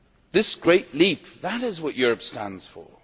This great leap that is what Europe stands for.